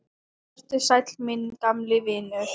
Vertu sæll, minn gamli vinur.